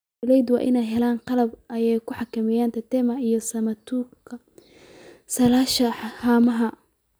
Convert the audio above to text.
Beeralayda waa in ay xallaan qalab ay ku xakameyaan tetama iyo samatuka silasha haamaha.